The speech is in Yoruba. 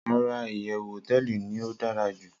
Rara, iyewu hoteeli ni o dara ju